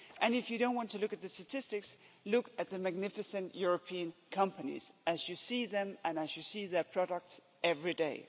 And if you don't want to look at the statistics, look at the magnificent European companies as you see them and as you see their products every day.